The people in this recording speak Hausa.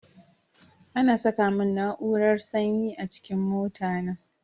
Ana saka mun na'urar sanyi a cikin mota na.